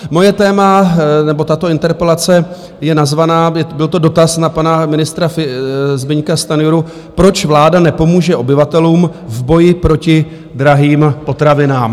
Moje téma nebo tato interpelace je nazvaná, byl to dotaz na pana ministra Zbyňka Stanjuru, Proč vláda nepomůže obyvatelům v boji proti drahým potravinám?